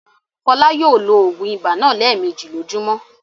Fọlá yóò lo òògùn ibà náà lẹ́ẹ̀mejì lójúmọ́!